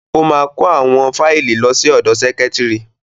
Ó máa kó àwọn fáìlì lọ sí ọ̀dọ sẹ́kítrì.